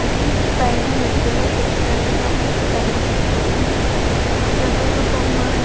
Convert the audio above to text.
అది పైన ఎత్తులో పెట్టినట్టుగా మనకి కనిపిస్తూ ఉంది. ఆ ప్రభువు బొమ్మ --